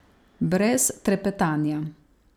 Brez trepetanja.